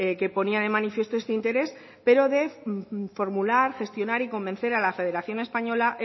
que ponía de manifiesto este interés pero de formular gestionar y convencer a la federación española